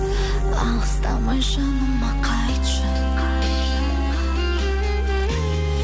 алыстамай жаныма қайтшы